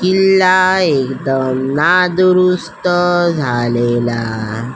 किल्ला एकदम नादुरुस्त झालेला--